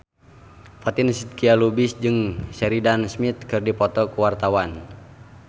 Fatin Shidqia Lubis jeung Sheridan Smith keur dipoto ku wartawan